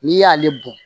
N'i y'ale bɔn